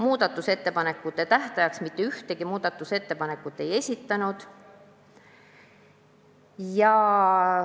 Muudatusettepanekute tähtajaks mitte ühtegi muudatusettepanekut ei esitatud.